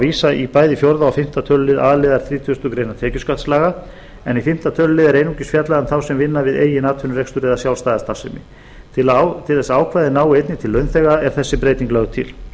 vísa í bæði fjórða og fimmta tölulið a liðar þrítugustu greinar tekjuskattslaga en í fimmta tölulið er einungis fjallað um þá sem vinna við eigin atvinnurekstur eða sjálfstæða starfsemi til þess að ákvæðið nái einnig til launþega er þessi breyting lögð til